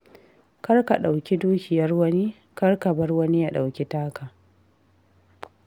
Kar ka ɗauki dukiyar wani, kar ka bar wani ya ɗauki taka.